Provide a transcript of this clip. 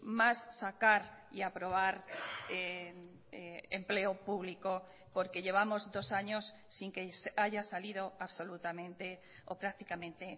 más sacar y aprobar empleo público porque llevamos dos años sin que haya salido absolutamente o prácticamente